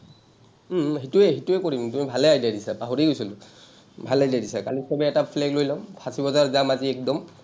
উম উম সেইটোৱেই, সেইটোৱেই কৰিম। তুমি ভালেই idea দিছা। পাহৰিয়েই গৈছিলো। ভাল লাগিলে কালি চবে এটা flag লৈ ল’ম। ফাঁচী বজাৰ যাম আজি একদম।